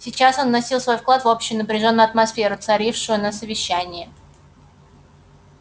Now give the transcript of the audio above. сейчас он вносил свой вклад в общую напряжённую атмосферу царившую на совещании